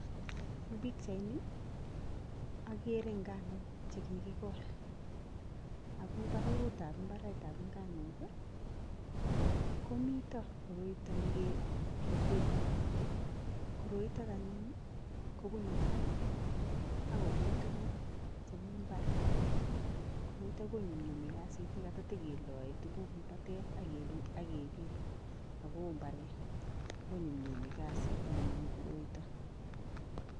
Eng pichaini agere nganuk che kigigol. Ago eng baragutab mbaretab nganuk ii komito koroito ne kebiten. Koroito anyun ii kobune barak ak kopit tuguk che mi mbar. Koroito konyumnyumi kasit ne kata tageloe tuguk eng batet ak kepit ago oo mbaret. Konyumnyumi kasit anyun koroito.